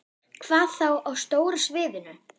Hvað þá á stóra sviðinu?